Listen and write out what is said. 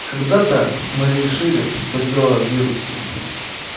когда-то мы решили что дело в вирусе